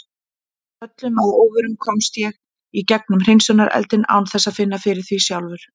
Öllum að óvörum komst ég í gegnum hreinsunareldinn án þess að finna fyrir því sjálfur.